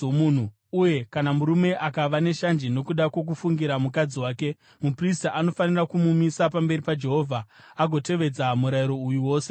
uye kana murume akava neshanje nokuda kwokufungira mukadzi wake. Muprista anofanira kumumisa pamberi paJehovha agotevedza murayiro uyu wose kwaari.